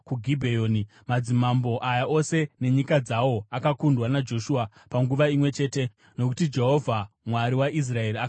Madzimambo aya ose nenyika dzawo akakundwa naJoshua panguva imwe chete, nokuti Jehovha, Mwari waIsraeri, akarwira Israeri.